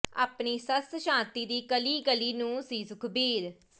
ਆਪਣੀ ਸੱਸ ਸ਼ਾਂਤੀ ਦੀ ਕੱਲੀ ਕੱਲੀ ਨੂੰਹ ਸੀ ਸੁਖਬੀਰ